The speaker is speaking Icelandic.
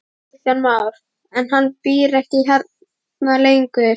Kristján Már: En hann býr ekki hérna lengur?